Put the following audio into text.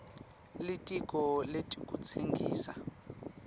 litiko letekutsengisa